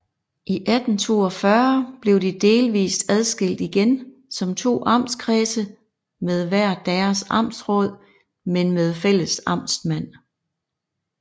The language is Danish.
I 1842 blev de delvist adskilt igen som to amtskredse med hver deres amtsråd men med fælles amtsmand